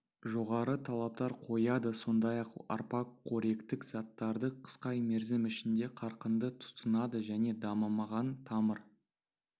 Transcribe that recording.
жоғары талаптар қояды сондай-ақ арпа қоректік заттарды қысқа мерзім ішінде қарқынды тұтынады және дамымаған тамыр